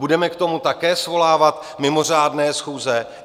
Budeme k tomu také svolávat mimořádné schůze?